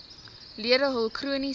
lede hul chroniese